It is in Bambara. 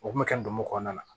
O kun bɛ kɛ ndomo kɔnɔna na